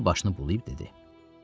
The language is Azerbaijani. Sonra başını bulayıb dedi: